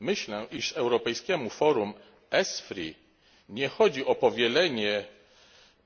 Myślę, że europejskiemu forum ESFRI nie chodzi o powielenie